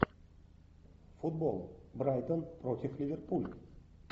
футбол брайтон против ливерпуля